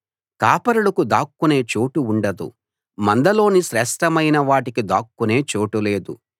కాపరులకు దాక్కునే చోటు ఉండదు మందలోని శ్రేష్ఠమైన వాటికి దాక్కునే చోటు లేదు